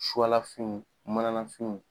lafiniw manafiniw.